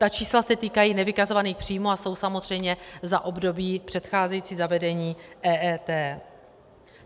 Ta čísla se týkají nevykazovaných příjmů a jsou samozřejmě za období předcházející zavedení EET.